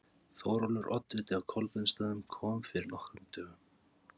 Þórólfur oddviti á Kolbeinsstöðum kom fyrir nokkrum dögum.